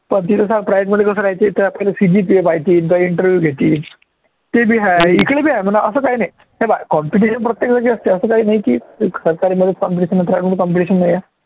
पण private मध्ये कसं इथे interview घेतील ते बी आहे, इकडे बी आहे म्हणा असचं आहे ना हे पाह्य competition प्रत्येक असते असं काही नाही की सरकारीमध्येच competition आहे private मध्ये competition नाही आहे.